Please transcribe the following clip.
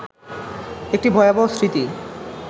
একটি ভয়াবহ স্মৃতি